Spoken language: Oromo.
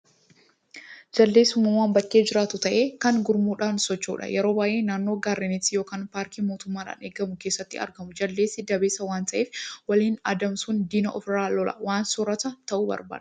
Jaldeessi uumama bakkee jiraatu ta'ee, kan gurmuudhaan socho'udha. Yeroo baay'ee naannoo gaarreeniitti yookiin paarkii mootummaadhaan eegamu keessatti argamu. Jaldeessi dabeessa waan ta'eef, waliin adeemuun diina ofirraa lolaa, waan soorata ta'u barbaaddata.